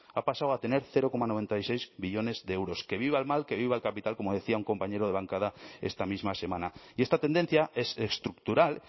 ha pasado a tener cero coma noventa y seis millónes de euros que viva el mal que viva el capital como decía un compañero de bancada esta misma semana y esta tendencia es estructural